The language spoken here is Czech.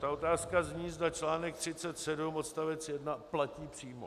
Ta otázka zní, zda článek 37 odstavec 1 platí přímo.